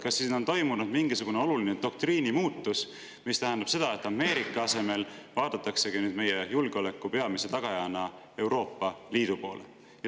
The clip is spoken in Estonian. Kas siis on toimunud mingisugune oluline doktriini muutus, mis tähendab seda, et Ameerika asemel vaadataksegi nüüd Euroopa Liidu kui meie julgeoleku peamise tagaja poole?